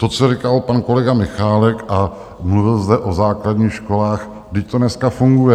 To, co říkal pan kolega Michálek, a mluvil zde o základních školách - vždyť to dneska funguje.